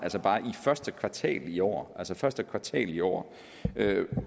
første kvartal i år altså i første kvartal i år er en